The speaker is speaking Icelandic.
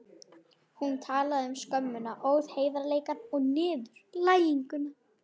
Hún talaði um skömmina, óheiðarleikann og niðurlæginguna.